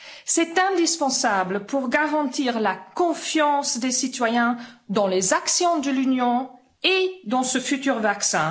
C'est indispensable pour garantir la confiance des citoyens dans les actions de l'Union et dans ce futur vaccin.